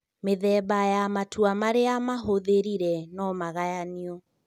Mĩthemba ya matua marĩa mahũthĩrire nomagayanio